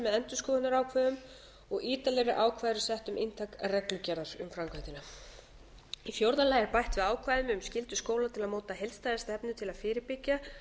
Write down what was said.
endurskoðunarákvæðum og ítarlegri ákvæði eru sett um inntak reglugerðar um framkvæmdina í fjórða lagi er bætt við ákvæðum um skyldu skóla til að móta heildstæða stefnu til að fyrirbyggja